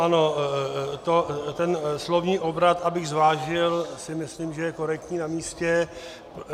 Ano, ten slovní obrat, abych zvážil, si myslím, že je korektní a namístě.